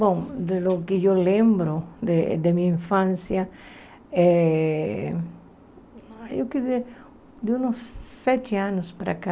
Bom, do que eu lembro eh da minha infância, eh eu queria dizer, de uns sete anos para cá,